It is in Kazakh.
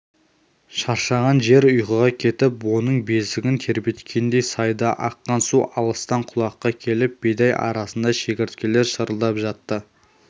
шаршаған жер ұйқыға кетіп оның бесігін тербеткендей сайда аққан су алыстан құлаққа келіп бидай арасында шегірткелер шырылдап жатты